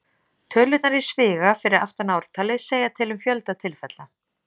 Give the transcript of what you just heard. Tölurnar í sviga fyrir aftan ártalið segja til um fjölda tilfella.